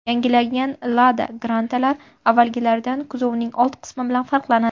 Yangilangan Lada Granta’lar avvalgilaridan kuzovning old qismi bilan farqlanadi.